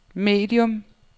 medium